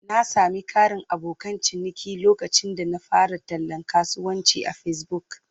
Na sami ƙarin abokan ciniki lokacin da na fara tallan kasuwancin a Facebook.